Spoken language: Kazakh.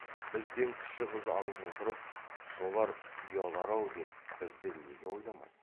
бізден кіші қыз алып отырып солар ұялар ау деп бізді неге ойламайды